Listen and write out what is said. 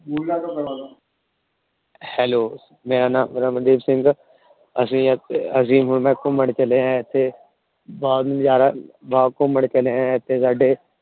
Hello ਮੇਰਾ ਨਾਮ ਰਣਬੀਰ ਸਿੰਘ ਹੈ। ਅਸੀਂ ਘੁੰਮਣ ਚਲੇ ਹਾਂ ਇੱਥੇ । ਬਹੁਤ ਨਜ਼ਾਰਾ ਬਹੁਤ ਘੁੰਮਣ ਚਲੇ ਇੱਥੇ ਸਾਡੇ